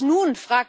Was nun?,